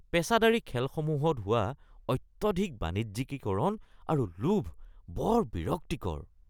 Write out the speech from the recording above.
পেচাদাৰী খেলসমূহত হোৱা অত্যধিক বাণিজ্যিকীকৰণ আৰু লোভ বৰ বিৰক্তিকৰ